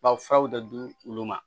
Ba furaw de di olu ma